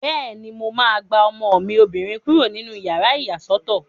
Bẹ́ẹ̀ni, mo máa gba ọmọ mi obìnrin kúrò nínú yàrá ìyàsọ́tọ̀